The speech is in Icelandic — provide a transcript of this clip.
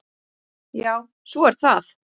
Já, svo er það.